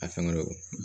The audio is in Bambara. A fɛn kɔni